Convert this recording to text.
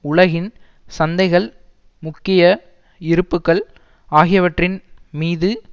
உலகின் சந்தைகள் முக்கிய இருப்புக்கள் ஆகியவற்றின் மீது